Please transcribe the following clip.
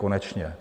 Konečně.